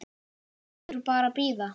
Heldur bara bíða.